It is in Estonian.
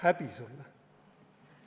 Häbi sulle!